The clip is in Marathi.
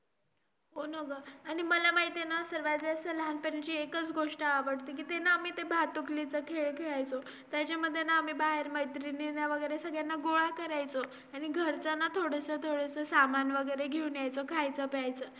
एखाद्या market मध्ये जाऊन किंवा d Mart मध्ये आपले public place मध्ये जावून serve seat fillup करून serve करून.